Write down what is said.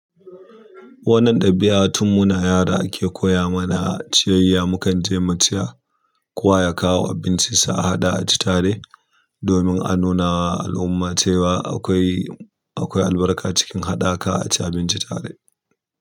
Wannan ɗabi'a, tun muna yara ake koya mana a ciyayya. Mukan tai mu ciya kowa ya kawo abincinsa a haɗa a ci tare, domin a nuna wa al'umma cewa akwai, akwai albarka cikin haɗaka a ci abinci tare.